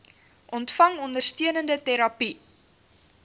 ontvang ondersteunende terapie